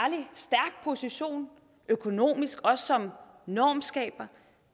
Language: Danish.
position økonomisk og som normskaber